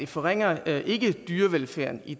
forringer dyrevelfærden i